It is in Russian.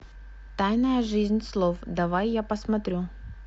тайная жизнь слов давай я посмотрю